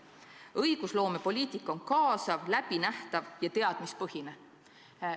" Ja edasi: "Õigusloomepoliitika on kaasav, ettenähtav ja teadmuspõhine.